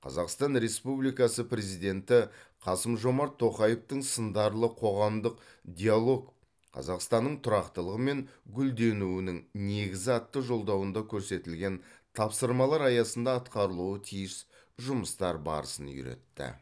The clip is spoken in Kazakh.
қазақстан республикасы президенті қасым жомарт тоқаевтың сындарлы қоғамдық диалог қазақстанның тұрақтылығы мен гүлденуінің негізі атты жолдауында көрсетілген тапсырмалар аясында атқарылуы тиіс жұмыстар барысын үйретті